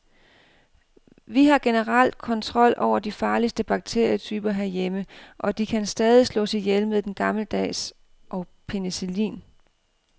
Vi har generelt kontrol over de farligste bakterietyper herhjemme, og de kan stadig slås ihjel med den gammeldags og penicillin.